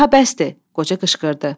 Daha bəsdir, qoca qışqırdı.